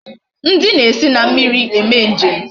Ndi na esi na mmiri eme njem